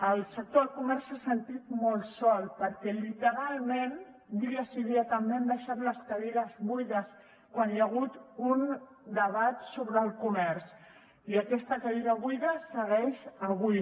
el sector del comerç s’ha sentit molt sol perquè literalment dia sí i dia també han deixat les cadires buides quan hi ha hagut un debat sobre el comerç i aquesta cadira buida hi segueix avui